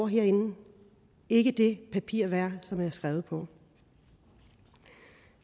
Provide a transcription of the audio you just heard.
herinde ikke det papir værd som de er skrevet på